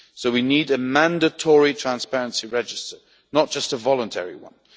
So we need a mandatory transparency register, not just a voluntary one.